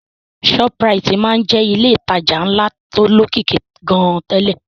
Shoprite máa ń jẹ́ ilé ìtajà ńlá tó lókìkí gan-an tẹ́lẹ̀